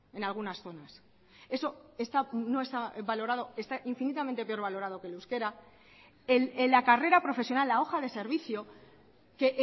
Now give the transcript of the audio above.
en algunas zonas eso no está valorado está infinitamente pero valorado que el euskera en la carrera profesional la hoja de servicio que